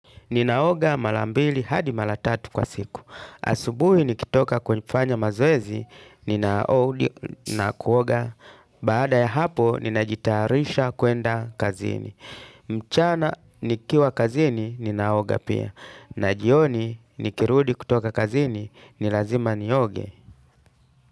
Ninaoga mara mbili hadi mara tatu kwa siku. Asubuhi nikitoka kufanya mazoezi, ninarudi na kuoga. Baada ya hapo, ninajitayarisha kuenda kazini. Mchana nikiwa kazini, ninaoga pia. Na jioni nikirudi kutoka kazini, ni lazima nioge.